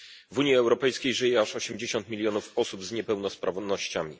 W Unii Europejskiej żyje aż 80 milionów osób z niepełnosprawnościami.